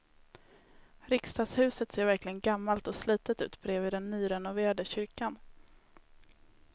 Riksdagshuset ser verkligen gammalt och slitet ut bredvid den nyrenoverade kyrkan.